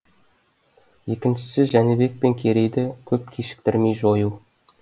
екіншісі жәнібек пен керейді көп кешіктірмей жою